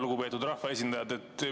Lugupeetud rahvaesindajad!